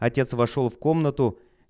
отец вошёл в комнату